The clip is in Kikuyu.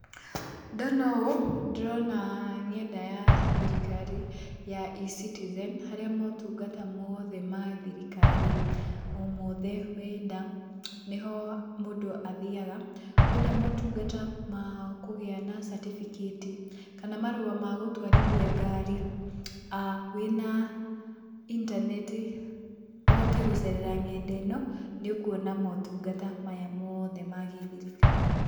Ndona ũũ, ndĩrona ng'enda ya thirikari ya E-citizen harĩa motungata mothe ma thirikari o mothe wenda nĩho mũndũ athiaga, wenda motungata ma kũgĩa na catibikati kana marũa ma gũtwarithia ngari wĩna intaneti ũhote gũcerera ng'enda ĩno nĩ ũkuona motungata maya mothe ma gĩthirikari.